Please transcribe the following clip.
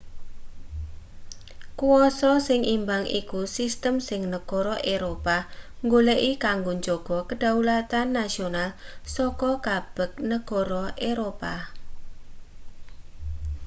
kwasa sing imbang iku sistem sing negara eropa goleki kanggo njaga kedaulatan nasional saka kabeg negara eropa